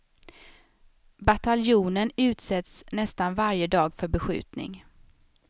Bataljonen utsätts nästan varje dag för beskjutning.